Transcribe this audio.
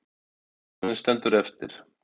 Líkaminn stendur eftir.